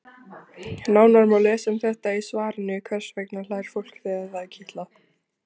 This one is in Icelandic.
Nánar má lesa um þetta í svarinu Hvers vegna hlær fólk þegar það er kitlað?